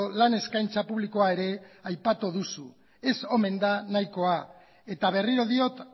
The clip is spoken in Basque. lan eskaintza publikoa ere aipatu duzu ez omen da nahikoa eta berriro diot